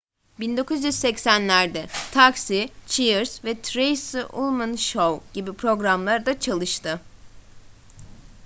1980'lerde taxi cheers ve the tracey ullman show gibi programlarda çalıştı